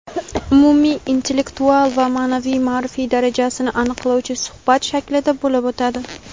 umumiy intellektual va ma’naviy-ma’rifiy darajasini aniqlovchi suhbat shaklida bo‘lib o‘tadi.